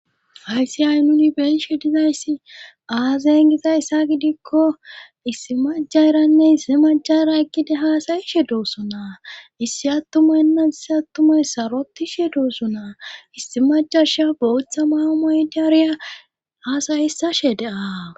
Hayssi ay nuni beishe dizayssi aazeyn giza essa gidikko issi majaranne issi majara ekkida haasayishe dooso naa issi attumaynna issi attumay sarotishe duossonaa issi majarsha bootha maamaytaariya haasayissashe dea